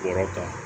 Wɔrɔ kan